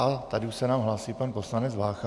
A tady už se nám hlásí pan poslanec Vácha.